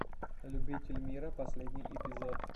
любительмира последний эпизод